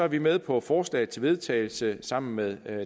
vi med på forslaget til vedtagelse sammen med